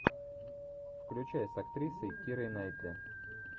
включай с актрисой кирой найтли